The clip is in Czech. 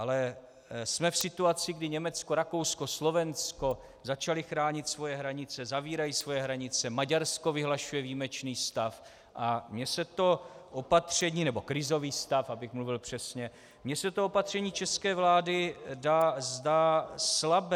Ale jsme v situaci, kdy Německo, Rakousko, Slovensko začaly chránit svoje hranice, zavírají svoje hranice, Maďarsko vyhlašuje výjimečný stav, a mně se to opatření - nebo krizový stav, abych mluvil přesně - mně se to opatření české vlády zdá slabé.